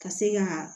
Ka se ka